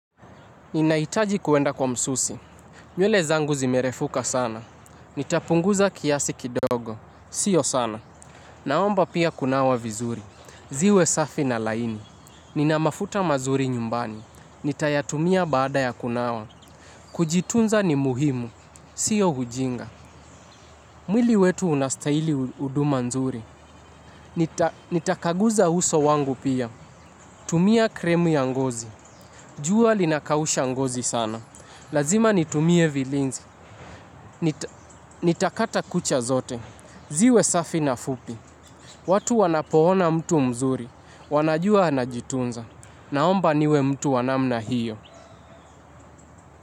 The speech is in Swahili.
Ninaitaji kuenda kwa msusi. Nywele zangu zimerefuka sana. Nitapunguza kiasi kidogo. Sio sana. Naomba pia kunawa vizuri. Ziwe safi na laini. Nina mafuta mazuri nyumbani. Nitayatumia baada ya kunawa. Kujitunza ni muhimu. Sio ujinga. Mwili wetu unastahili huduma nzuri. Nitakaguza uso wangu pia. Tumia krimu ya ngozi. Jua linakausha ngozi sana. Lazima nitumie vilinzi. Nitakata kucha zote. Ziwe safi na fupi. Watu wanapo ona mtu mzuri wanajua anajitunza. Naomba niwe mtu wa namna hiyo.